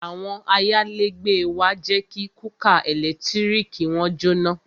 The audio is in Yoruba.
Àwọn ayálégbé wa jẹ́ kí kúkà ẹ̀lẹ́tíríkì wọn jóná